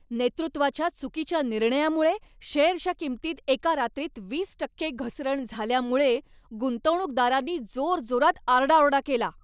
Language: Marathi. नेतृत्वाच्या चुकीच्या निर्णयामुळे शेअरच्या किंमतीत एका रात्रीत वीस टक्के घसरण झाल्यामुळे गुंतवणूकदारांनी जोरजोरात आरडाओरडा केला.